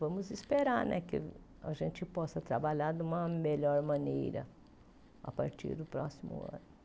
Vamos esperar né que a gente possa trabalhar de uma melhor maneira a partir do próximo ano.